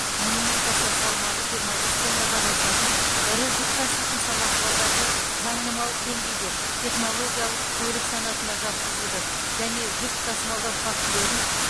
мұнымен қоса салмағы жиырма бес тоннадан асатын ірі жүк таситын самосвалдарды заңнамалық деңгейде технологиялық көлік санатына жатқызуды және жүк тасымалдау фактілерін